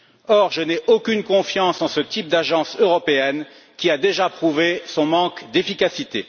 Or, je n'ai aucune confiance en ce type d'agence européenne, qui a déjà prouvé son manque d'efficacité.